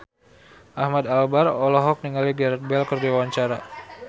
Ahmad Albar olohok ningali Gareth Bale keur diwawancara